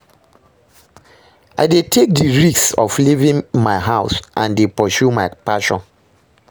I dey take di risk of leaving my house and dey pursue my passion.